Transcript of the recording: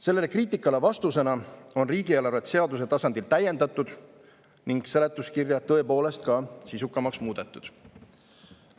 Sellele kriitikale vastusena on riigieelarve seaduse tasandil täiendatud ning seletuskirja tõepoolest ka sisukamaks muudetud.